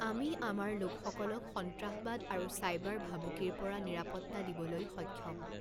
আমি আমাৰ লোকসকলক সন্ত্ৰাসবাদ আৰু চাইবাৰ ভাবূকিৰ পৰা নিৰাপত্তা দিবলৈ সক্ষম।